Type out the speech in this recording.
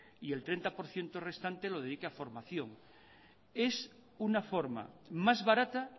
y el treinta por ciento restante lo dedique a formación es una forma más barata